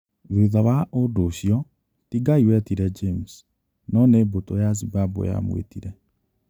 Thutha wa ũndũ ũcio, ti Ngai wetire James, no nĩ mbũtũ ya Zimbabwe yamwĩtire